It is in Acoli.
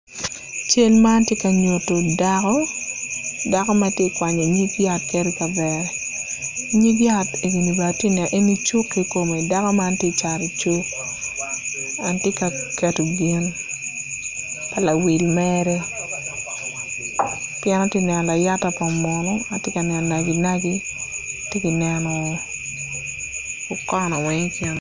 Cal man tye ka nyuto dako, dako matye ka kwanyo nyig yat ket i kavere nyig yat egi bene atye ka neno, eni cuk kikome dako man tye ka cat i cuk dok tye ka keto gin pa lawil mere pien atye ka neno layata pa munu, atye ka neno naci naci atye ka neno okono weng ikine